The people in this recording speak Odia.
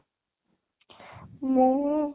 ମୁଁ